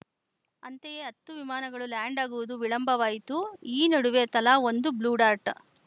ಅಂತೆಯೇ ಹತ್ತು ವಿಮಾನಗಳು ಲ್ಯಾಂಡ್‌ ಆಗುವುದು ವಿಳಂಬವಾಯಿತು ಈ ನಡುವೆ ತಲಾ ಒಂದು ಬ್ಲೂಡಾರ್ಟ್‌